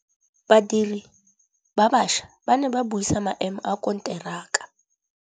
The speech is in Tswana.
Badiri ba baša ba ne ba buisa maêmô a konteraka.